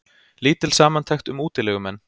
Lítil samantekt um útilegumenn